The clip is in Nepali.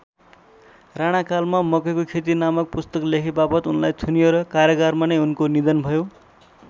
राणाकालमा मकैको खेती नामक पुस्तक लेखेवापत उनलाई थुनियो र कारागारमा नै उनको निधन भयो।